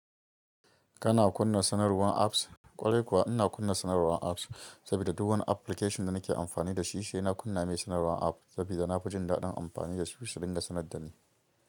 Kana kunna sanarwar apps? Kwarai kuwa ina kunna sanarwar apps saboda duk wani application da nake amfani da shi, sai na kunna mai sanarwar app saboda na fi jin daɗin amfani da shi, shi dinga sanar da ni.